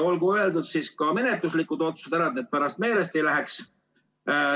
Olgu ära öeldud ka menetluslikud otsused, et need pärast meelest ei läheks.